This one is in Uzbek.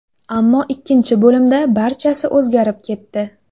Ammo ikkinchi bo‘limda barchasi o‘zgarib ketdi.